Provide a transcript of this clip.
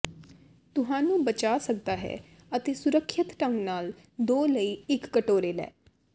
ਤੁਹਾਨੂੰ ਬਚਾ ਸਕਦਾ ਹੈ ਅਤੇ ਸੁਰੱਖਿਅਤ ਢੰਗ ਨਾਲ ਦੋ ਲਈ ਇੱਕ ਕਟੋਰੇ ਲੈ